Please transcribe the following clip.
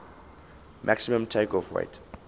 maximum takeoff weight